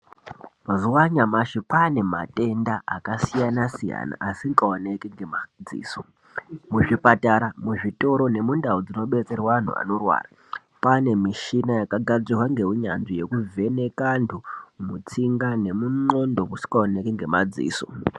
Mazuva anyamashi kwane matenda aka siyana siyana asinga oneki nge madziso mu zvipatara mu zvitoro ne mundau dzino betserwa antu anorwara kwane mishina yaka gadzirwa nge unyanzvi yeku vheneka antu mutsinga nemu ndxondo musinga oneki nge madziso.